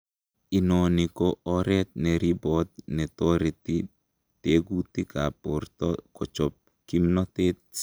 Inoni ko oret neribot netoreti tetukab borto kochob kimnotet.